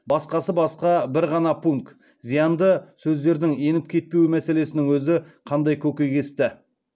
басқасы басқа бір ғана пункт зиянды сөздердің еніп кетпеуі мәселесінің өзі қандай көкейкесті